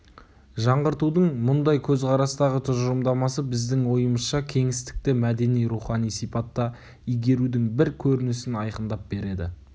жаңғыртудың мұндай көзқарастағы тұжырымдамасы біздің ойымызша кеңістікті мәдени-рухани сипатта игерудің бір көрінісін айқындап береді